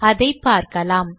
அதை பார்க்கலாம்